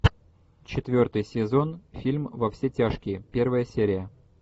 четвертый сезон фильм во все тяжкие первая серия